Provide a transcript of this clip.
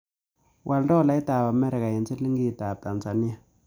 Wal tolaitap amerika eng' silingiitap tanzania